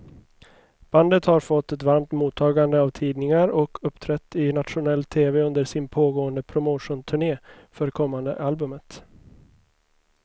Bandet har fått ett varmt mottagande av tidningar och uppträtt i nationell tv under sin pågående promotionturné för kommande albumet.